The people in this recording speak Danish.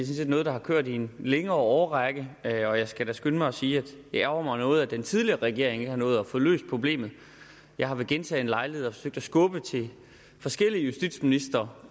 set er noget der har kørt i en længere årrække og jeg skal da skynde mig at sige at det ærgrer mig noget at den tidligere regering ikke nåede at få løst problemet jeg har ved gentagne lejligheder forsøgt at skubbe til forskellige justitsministre